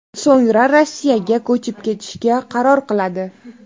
So‘ngra Rossiyaga ko‘chib ketishga qaror qiladi.